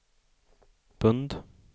pund